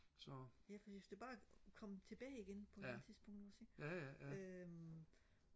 ja fordi hvis det bare kom tilbage igen på et eller andet tidspunkt ikke også ikke øh